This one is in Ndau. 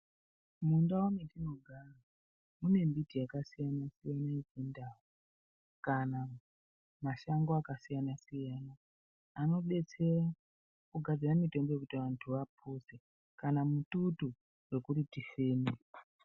Mundau mwetinogara mune mbiti yakasiyanasiyana yechindau kana mashango akasiyanasiyana anobetsera kugadzira mitombo yekuti anhu apone kana mututu wekuti tifeme.